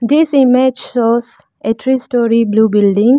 this image shows a three storey blue building.